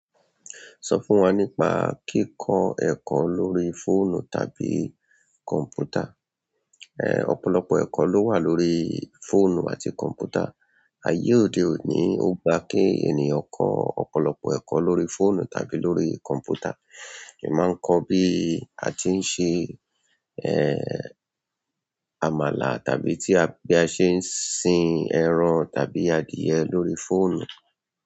Sọ fún wa nípa kíkọ ẹ̀kọ́ lórí fóònù tàbí kọ̀m̀pútà. Ẹ̀ ọ̀pọ̀lọpọ̀ ẹ̀kọ́ ló wà lórí fóònù àti kọ̀m̀pútà. Ayé òde oni ó gbà kí ènìyàn kọ ọ̀pọ̀lọpọ̀ ẹ̀kọ́ lórí fóònù tàbí lórí kọmputa. È máa ń kọ bí a tí ń ṣe, ẹ́, àmàlà tàbí bí a ṣe ń sin ẹran tàbí adìẹ lórí fóònù.